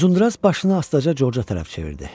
Uzundraz başını astaca Corca tərəf çevirdi.